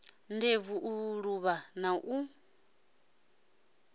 ndebvu u luvha na u